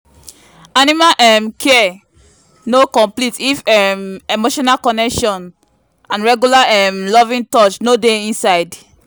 animal um care no complete if um emotional connection and regular um loving touch no dey inside.